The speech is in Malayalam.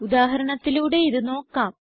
ഉദാഹരണത്തിലൂടെ ഇത് നോക്കാം